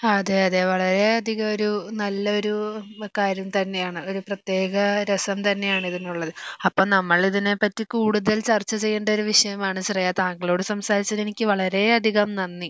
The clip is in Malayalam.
അതെ അതെ വളരെയധികമൊരു നല്ലൊരു കാര്യം തന്നെയാണ് ഒരു പ്രത്യേക രസം തന്നെയാണ് ഇതിനുള്ളത് അപ്പം നമ്മള് ഇതിനെ പറ്റി കൂടുതൽ ചർച്ച ചെയ്യേണ്ട ഒരു വിഷയമാണ് ശ്രേയ താങ്കളോട് സംസാരിച്ചതിന് എനിക്ക് വളരെയധികം നന്ദി